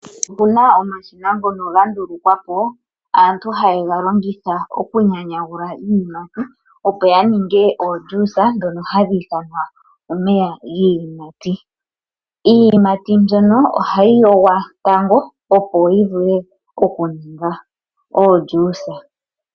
Opuna omashina ngono ga ndulukwapo aantu haye galongitha okunyanyagula iiyimati opo ya ninge ojuisa ndhono ha kutiwa omeya giiyimati. Iiyimati mbyono ohayi yongwa tango.